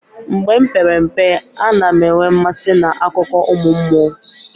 Mgbe m pere mpe, a na m enwe mmasị n'akụkọ ụmụ mmụọ.